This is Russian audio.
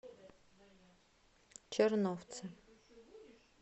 черновцы